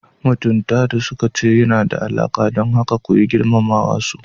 Mutunta da suka ce yana da alaƙa, don haka koyi girmama wasu.